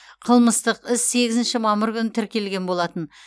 қылмыстық іс сегізінші мамыр күні тіркелген болатын